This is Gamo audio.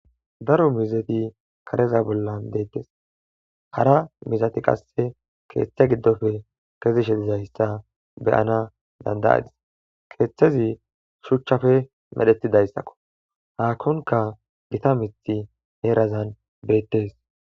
Daro miizzeti karezaa bollan deettes hara miizzati qassi keeththe giddope kezishin zaystha be7na danddayas keeththezi shuchchape merethida iza ko zaakonkka gita miththi irazan beettees.